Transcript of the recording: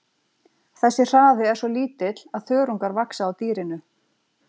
Þessi hraði er svo lítill að þörungar vaxa á dýrinu.